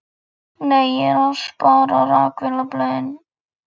Nei, ég er að spara. rakvélarblöðin.